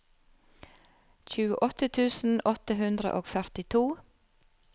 tjueåtte tusen åtte hundre og førtito